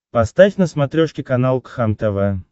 поставь на смотрешке канал кхлм тв